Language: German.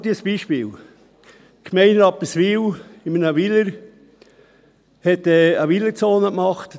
Schnell ein Beispiel: Die Gemeinde Rapperswil hat eine Weilerzone geschaffen.